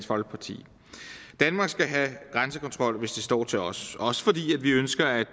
folkeparti danmark skal have grænsekontrol hvis det står til os også fordi vi ønsker at